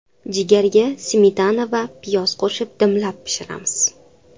Jigarga smetana va piyoz qo‘shib dimlab pishiramiz.